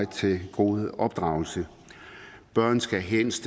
til god opdragelse børn skal helst